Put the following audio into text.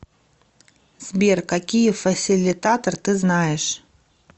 сбер какие фасилитатор ты знаешь